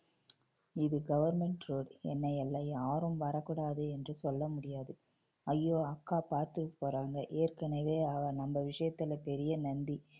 இது government road என்னை எல்லா~ யாரும் வரக்கூடாது என்று சொல்ல முடியாது. ஐயோ அக்கா பாத்துரப் போறாங்க ஏற்கனவே அவ நம்ம விஷயத்துல பெரிய நந்தி